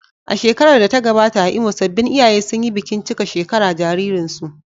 A shekarar da ta gabata a Imo, sabbin iyaye sun yi bikin cika shekara jaririnsu.